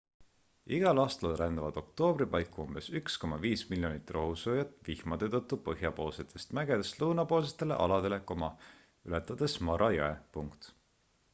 igal aastal rändavad oktoobri paiku umbes 1,5 miljonit rohusööjat vihmade tõttu põhjapoolsetest mägedest lõunapoolsetele aladele ületades mara jõe